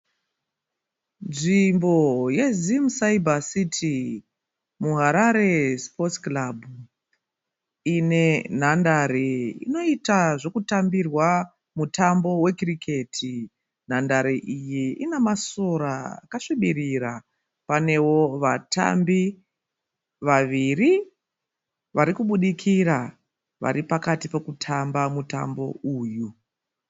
Nzvimbo yeZim Cyber City muHarare sports club ine nhandare inoita zvekutambirwa mutambo we cricket nhandare iyi ine masora akasvibirira, panewo vatambi vaviri varikubudikira varipakati pekutamba mutambo uyu.